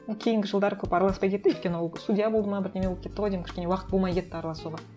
кейінгі жылдары көп араласпай кетті өйткені ол судья болды ма бірдеңе болып кетті ғой деймін кішкене уақыт болмай кетті араласуға